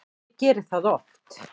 Ég geri það oft